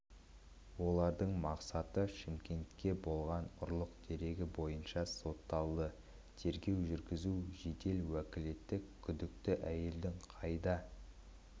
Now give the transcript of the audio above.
олардың мақсаты шымкентте болған ұрлық дерегі бойынша соталды тергеу жүргізу жедел уәкілдер күдікті әйелдің қайда